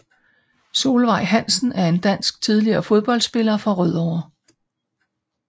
Solveig Hansen er en dansk tidligere fodboldspiller fra Rødovre